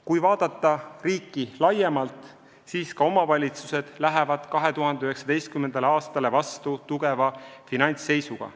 Kui vaadata riiki laiemalt, siis ka omavalitsused lähevad 2019. aastale vastu tugeva finantsseisuga.